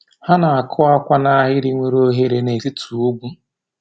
Ha na-akụ akwa n’ahịrị nwere oghere n’etiti ugwu.